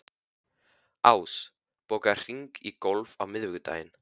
Ás, bókaðu hring í golf á miðvikudaginn.